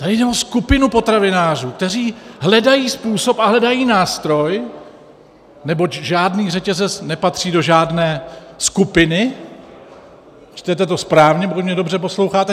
Tady jde o skupinu potravinářů, kteří hledají způsob a hledají nástroj, neboť žádný řetězec nepatří do žádné skupiny - čtete to správně, pokud mě dobře posloucháte.